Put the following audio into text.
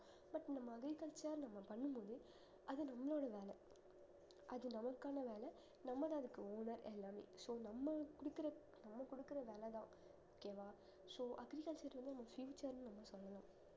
but நம்ம agriculture அ நம்ம பண்ணும் போது அது நம்மளோட வேலை அது நமக்கான வேலை நம்மதான் அதுக்கு owner எல்லாமே so நம்ம குடுக்குற நம்ம குடுக்குற விலைதான் okay வா so agriculture வந்து நம்ம future ன்னு நம்ம சொல்லணும்